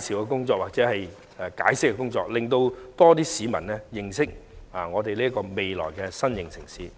紹和解釋的工作，令更多市民認識這個未來的新型城市。